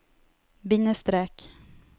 bindestrek